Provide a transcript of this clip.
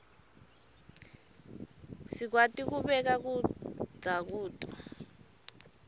sikwati kubeka kudza kuto